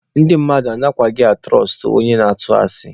Ndị mmadụ anaghịkwa atụrọstụ onye na-atụ asị.